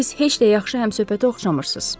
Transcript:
Siz heç də yaxşı həmsöhbətə oxşamırsız.